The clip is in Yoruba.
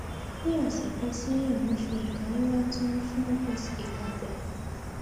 nih ọsẹ kan sẹyìn mo fi ìka ńlá tó nih fungus ìka gbá